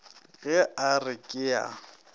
ge a re ke a